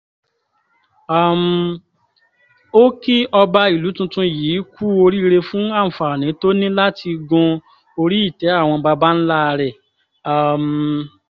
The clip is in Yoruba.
um ó kí ọba ìlú tuntun yìí kú oríire fún àǹfààní tó ní láti gun orí-ìtẹ́ àwọn baba ńlá rẹ̀ um